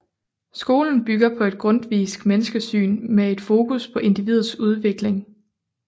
Skolen bygger på et grundtvisk menneskesyn med et fokus på individets udvikling